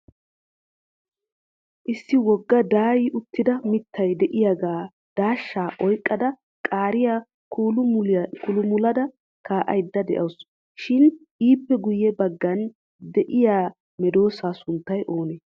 Issi wogga daayyi uttida mittaa de'iyaaga daashsha oyqqada qaariya kuulu muludda kaa'aydde de'awusu. Shin ippe guyye baggan de'iyaa medoosa sunttay oonee?